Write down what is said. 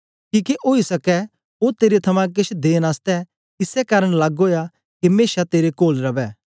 किके ओई सकै ओ तेरे थमां केछ देन आसतै इसै कारन लग्ग ओया के मेशा तेरे कोल रवै